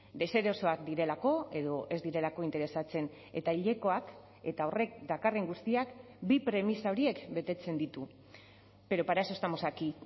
deserosoak direlako edo ez direlako interesatzen eta hilekoak eta horrek dakarren guztiak bi premisa horiek betetzen ditu pero para eso estamos aquí